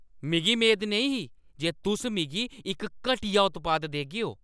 मिगी मेद नेईं ही जे तुस मिगी इक घटिया उत्पाद देगेओ ।